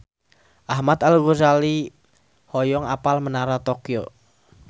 Ahmad Al-Ghazali hoyong apal Menara Tokyo